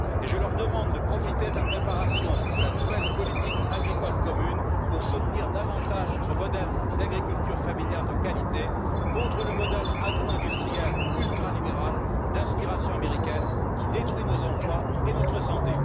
Je leur demande de profiter de la préparation de la nouvelle politique agricole commune pour soutenir davantage notre modèle d'agriculture familial de qualité contre le modèle agro industriel ultralibéral d'inspiration américaine, qui détruit nos emplois et notre santé.